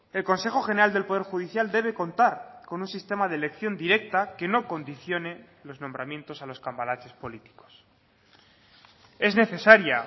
el consejo general del poder judicial debe contar con un sistema de elección directa que no condicione los nombramientos a los cambalaches políticos es necesaria